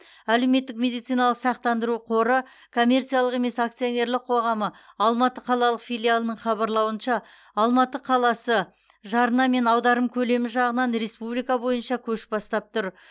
әлеуметтік медициналық сақтандыру қоры коммерциялық емес акционерлік қоғамы алматы қалалық филиалының хабарлауынша алматы қаласы жарна мен аударым көлемі жағынан республика бойынша көш бастап тұр